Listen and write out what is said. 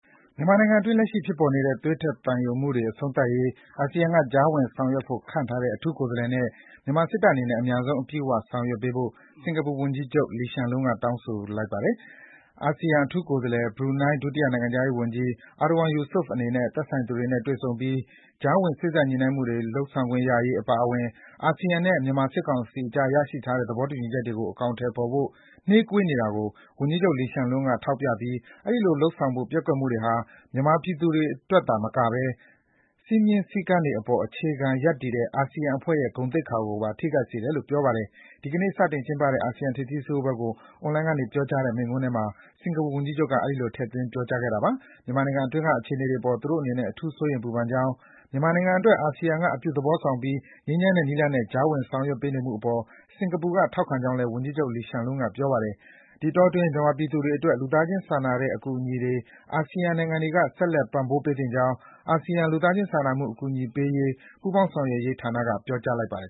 မြန်မာနိုင်ငံအတွင်း ရှိဖြစ်ပေါ်နေတဲ့ သွေးထွက်သံယိုမှုတွေ အဆုံးသတ်ရေး အာဆီယံက ကြားဝင်ဆောင်ရွက်ဖို့ ခန့်အပ်ထားတဲ့ အထူးကိုယ်စားလှယ်နဲ့ မြန်မာစစ်တပ်အနေနဲ့ အမြန်ဆုံး အပြည့်အဝ ပူးပေါင်းဆောင်ရွက်ဖို့ စင်္ကာပူဝန်ကြီးချုပ် Lee Hsien Loong က တိုက်တွန်း ပြောကြားလိုက်ပါတယ်။ အာဆီယံအထူးကိုယ်စားလှယ် ဘရူနိုင်း ဒုတိယ နိုင်ငံခြားရေးဝန်ကြီး Erywan Yusof အနေနဲ့ သက်ဆိုင်သူတွေနဲ့ တွေ့ဆုံပြီး ကြားဝင် စေ့စပ်ညှိနှိုင်းမှုတွေ လုပ်ဆောင်ခွင့်ရရေး အပါအဝင် အာဆီယံနဲ့ မြန်မာစစ်ကောင်စီကြားရရှိထားတဲ့ သဘောတူညီချက်တွေကို အကောင်အထည်ဖော်ဖို့ နှေးကွေးနေတာတွေကို ဝန်ကြီးချုပ် Lee Hsien Loong က ထောက်ပြပြီး အဲဒီလို လုပ်ဆောင်ဖို့ ပျက်ကွက်မှုတွေဟာ မြန်မာပြည်သူတွေအတွက်သာမကဘဲ စည်းမျဉ်း စည်းကမ်းတွေအပေါ် အခြေခံရပ်တည်တဲ့ အာဆီယံအဖွဲ့ရဲ့ ဂုဏ်သိက္ခာကိုပါ ထိခိုက်စေတယ်လို့ ပြောပါတယ်။ ဒီကနေ့ စတင်ကျင်းပတဲ့ အာဆီယံထိပ်သီးစည်းဝေးပွဲကို အွန်လိုင်းကနေပြောကြားတဲ့ မိန့်ခွန်းအတွင်း စင်္ကာပူဝန်ကြီးချုပ်က အဲဒီလို ထည့်သွင်း ပြောကြားခဲ့တာ ဖြစ်ပါတယ်။ မြန်မာနိုင်ငံအတွင်းက အခြေအနေတွေအပေါ် သူတို့အနေနဲ့ အထူး စိုးရိမ်ပူပန်ကြောင်း၊ မြန်မာနိုင်ငံအတွက် အာဆီယံက အပြုသဘောဆောင်ပြီး ငြိမ်းချမ်းတဲ့နည်းလမ်းနဲ့ ကြားဝင်ဆောင်ရွက်ပေးနေမှုအပေါ် စင်္ကာပူနိုင်ငံက ထောက်ခံကြောင်းလည်း ဝန်ကြီးချုပ် Lee Hsien Loong က ပြောပါတယ်။ ဒီအတောအတွင်း မြန်မာပြည်သူတွေအတွက် လူသားချင်းစာနာထောက်ထားတဲ့ အကူအညီတွေ အာဆီယံနိုင်ငံတွေက ဆက်လက် ပံ့ပိုးပေးသင့်ကြောင်း အာဆီယံလူသားချင်းစာမှုအကူအညီပေးရေး ပူးပေါင်းဆောင်ရွက်ရေးဌာနက ပြောကြားလိုက်ပါတယ်